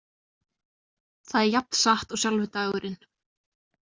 Það er jafn satt og sjálfur dagurinn.